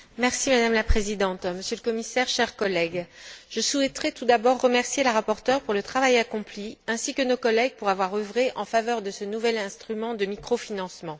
Madame la Présidente, Monsieur le Commissaire, chers collègues, je souhaiterais tout d'abord remercier la rapporteure pour le travail accompli, ainsi que nos collègues pour avoir œuvré en faveur de ce nouvel instrument de microfinancement.